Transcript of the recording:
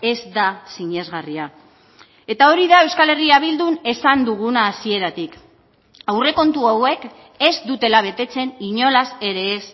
ez da sinesgarria eta hori da euskal herria bildun esan duguna hasieratik aurrekontu hauek ez dutela betetzen inolaz ere ez